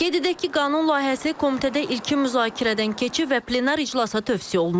Qeyd edək ki, qanun layihəsi komitədə ilkin müzakirədən keçib və plenar iclasa tövsiyə olunub.